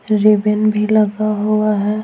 Ribbon भी लगा हुआ है।